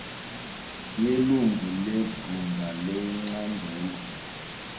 yelungu lebhunga lecandelo